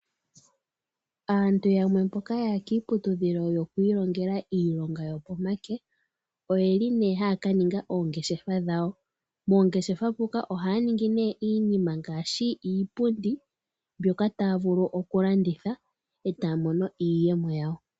Aantu yamwe mboka yaya kiiputudhilo yokwilongela iilonga yopomake oyeli ne ha kaninga oongeshefa dhayo. Mongeshefa oha ya ningi ne iinima ngashi iipundi mbyoka taya vulu oku landitha etaya mono iiyemo yawo.